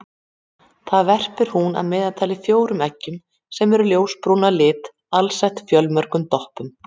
Þar verpir hún að meðaltali fjórum eggjum sem eru ljósbrún að lit alsett fjölmörgum doppum.